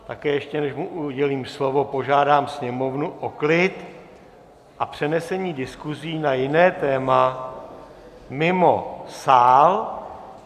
Také ještě, než mu udělím slovo, požádám sněmovnu o klid a přenesení diskusí na jiné téma mimo sál.